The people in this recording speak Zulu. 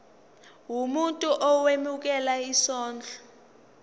umuntu owemukela isondlo